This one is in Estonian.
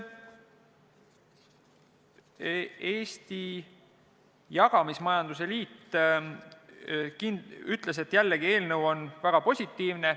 Eesti Jagamismajanduse Liit ütles, jällegi, et eelnõu on väga positiivne.